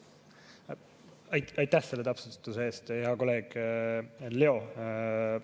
Aitäh selle täpsustuse eest, hea kolleeg Leo!